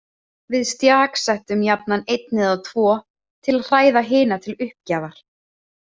Við stjaksettum jafnan einn eða tvo til að hræða hina til uppgjafar.